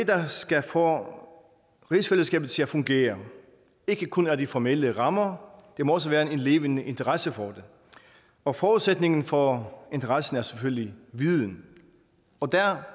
der skal få rigsfællesskabet til at fungere ikke kun er de formelle rammer der må også være en levende interesse for det og forudsætningen for interessen er selvfølgelig viden og der